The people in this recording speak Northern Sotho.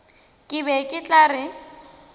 ke be ke tla re